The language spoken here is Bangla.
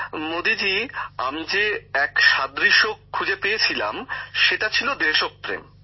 গ্যামর জীঃ মোদীজি আমি যে এক সাদৃশ্য খুঁজে পেয়েছিলাম সেটা ছিল দেশপ্রেম